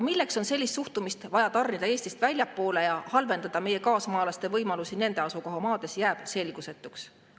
Milleks on sellist suhtumist vaja tarnida Eestist väljapoole ja halvendada meie kaasmaalaste võimalusi nende asukohamaades, jääb selgusetuks.